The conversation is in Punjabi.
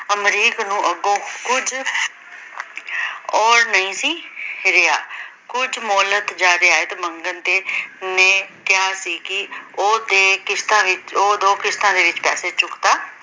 ਅਮਰੀਕ ਨੂੰ ਅੱਗੋਂ ਕੁਝ ਅੋੜ ਨਹੀਂ ਸੀ ਰਿਹਾ ਕੁਝ ਮੋਲਿਕ ਜਿਅਦਾਦ ਮੰਗਣ ਤੇ ਨੇ ਕਿਹਾ ਸੀ ਕਿ ਉਹ ਤੇ ਕਿਸ਼ਤਾ ਵਿੱਚ ਉਹ ਦੋ ਕਿਸ਼ਤਾਂ ਦੇ ਵਿੱਚ ਪੈਸੇ ਚੁਕਤਾ